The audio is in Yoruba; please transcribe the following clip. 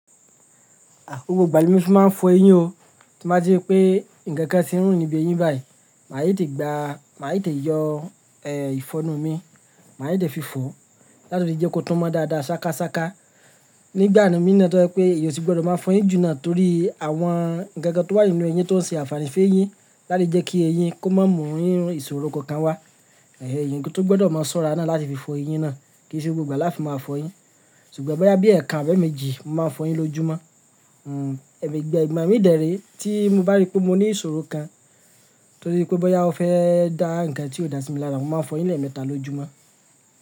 À, gbogbo ìgbà ni mí máa ń fọ eyín o. Tí mo bá rí pé ǹkan kan tí ń rùn níbi eyín báyìí, màá yá tì gbá, màá yà tì yọ, ẹ, ìfọnu mi, màá yẹ tì fi fọ láti lè jẹ́ kó túnmọ̀ dáadáa, ṣákáṣáká. Nígbà mí ní náà tó rẹ pé èyí sì gbọdọ̀ máa fọ eyín jù náà torí àwọn ǹkan kan tó wà nínú eyín tó ń ṣe àfààní fún eyín láti jẹ́ kí eyín kó má mọ̀ rí ìṣòro kan wá. Ẹ̀hẹn, eyín ni tó gbọdọ̀ máa ṣọ́ra náà láti fi fọ eyín náà kì í ṣe gbogbo ìgbà láti máa fọ eyín. Sùgbọ́n bọ́yá bí ẹ̀ẹ̀kan abí ẹ̀méjì, mo máa fọ eyín lójúmọ́. Hmm, ẹ̀mi ìgbà mí dèérí tí mo bá rí pé mo ní ìṣòro kan torí pé bọ́ dá ọ fẹ́ dá ǹkan tí ò dáa sí mi lára, mo máa fọ eyín lẹ́ẹ̀mẹta lójúmọ́